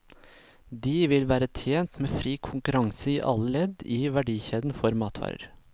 De vil være tjent med fri konkurranse i alle ledd i verdikjeden for matvarer.